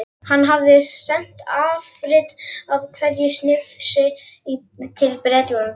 Hann hafði sent afrit af hverju snifsi til Bretlands.